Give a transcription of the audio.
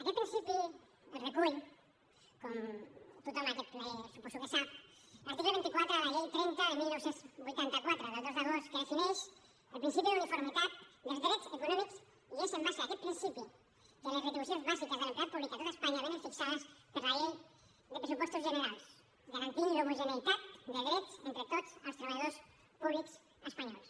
aquest principi el recull com tothom en aquest ple suposo que sap l’article vint quatre de la llei trenta de dinou vuitanta quatre del dos d’agost que defineix el principi d’uniformitat dels drets econòmics i és en base a aquest principi que les retribucions bàsiques de l’empleat públic a tot espanya vénen fixades per la llei de pressupostos generals garantint l’homogeneïtat de drets entre tots els treballadors públics espanyols